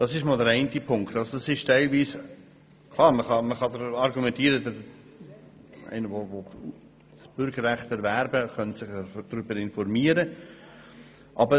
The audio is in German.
Klar kann man argumentieren, dass jemand, der das Bürgerrecht erwerben will, sich darüber informieren soll.